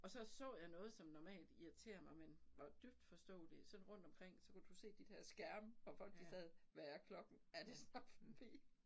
Og så så jeg noget som normalt irriterer mig men var dybt forståeligt sådan rundt omkring så kunne du se de der skærme hvor folk de sad hvad er klokken er det snart forbi